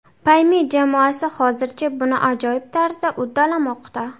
Payme jamoasi hozircha buni ajoyib tarzda uddalamoqda!